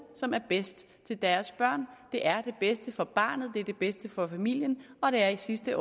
som er bedst til deres børn det er det bedste for barnet det er det bedste for familien og det er i sidste